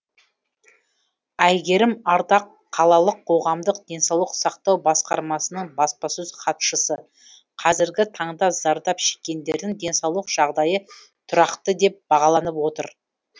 айгерім ардақ қалалық қоғамдық денсаулық сақтау басқармасының баспасөз хатшысы қазіргі таңда зардап шеккендердің денсаулық жағдайы тұрақты деп бағаланып отыр